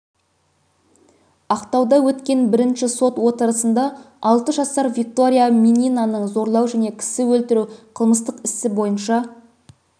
ақтауда өткен бірінші сот отырысында алты жасар виктория мининаны зорлау және кісі өлтіру қылмыстық ісі бойынша